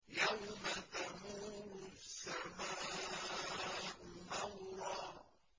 يَوْمَ تَمُورُ السَّمَاءُ مَوْرًا